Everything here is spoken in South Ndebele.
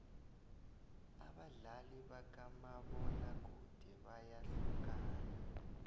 abadlali bakamabona kude bayahlukana